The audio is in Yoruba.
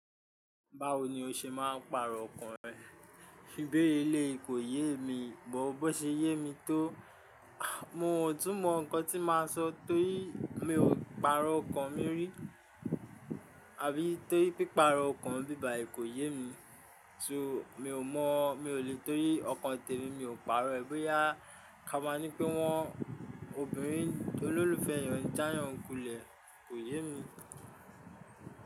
Báwo ni o ṣe máa ń pàrọ̀ ọkàn rẹ? Ibéère eleyi kò yé mi, bó ṣe yé mi tó. Mo ò tún mọ nǹkan tí ma sọ torí mi ò pàrọ̀ ọkàn mi rí, àbí torí píparọ̀ ọkàn bíbà yìí kò yé mi. Tú, mi ò mọ̀, mi ò lè torí ọkàn tèmi mi ò pàrọ́. Bo ya, ká máa ní pé wọ́n obìnrin tó lólùfẹ́ ènìyàn já yàn kulẹ̀, kò yé mi.